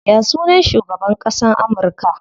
Ya sunan shugaban ƙasan Amurka?